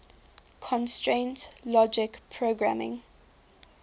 constraint logic programming